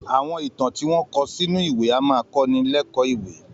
Àwọn ìtàn tí wọn kò sínú ìwé a máa kọ́ni lékòó ìwé